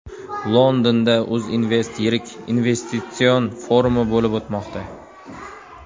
Londonda UzInvest yirik investitsion forumi bo‘lib o‘tmoqda.